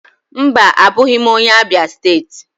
Mba, abụghị m onye Abịa steeti.